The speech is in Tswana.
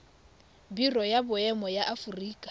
biro ya boemo ya aforika